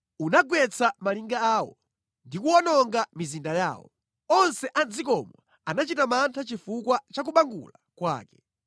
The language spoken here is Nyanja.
Unagwetsa malinga awo, ndikuwononga mizinda yawo. Onse a mʼdzikomo anachita mantha chifukwa cha kubangula kwake.